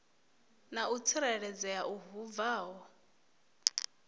na u tsireledzea hu bvaho